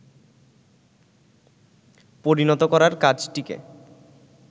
পরিণত করার কাজটিকে